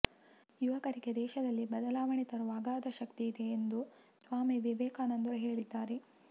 ಯುವಕರಿಗೆ ದೇಶದಲ್ಲಿ ಬದಲಾವಣೆ ತರುವ ಅಗಾಧ ಶಕ್ತಿ ಇದೆ ಎಂದು ಸ್ವಾಮಿ ವಿವೇಕಾನಂದರು ಹೇಳಿದ್ದಾರೆ